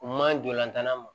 U man ɲi dolantan ma